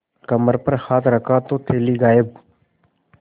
कमर पर हाथ रखा तो थैली गायब